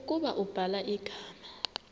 ukuba ubhala igama